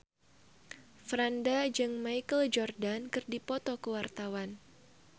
Franda jeung Michael Jordan keur dipoto ku wartawan